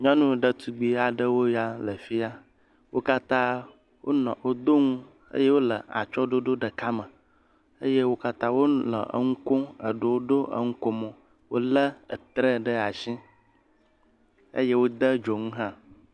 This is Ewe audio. Nyɔnu ɖetugbui aɖewoe ya le fia. Wo katã wonɔ, wodo ŋu eye wole atsyɔ̃ɖoɖo ɖeka me eye wo katã wonɔ eŋu kom. Eɖewo ɖo eŋukomo. Wolé ɛtrɛ ɖe ashi. Eye wode dzoŋu hã.